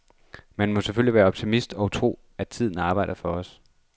Man må selvfølgelig være optimist og tro, at tiden arbejder for os.